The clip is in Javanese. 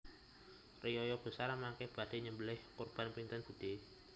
Riyaya besar mangke badhe nyembeleh kurban pinten budhe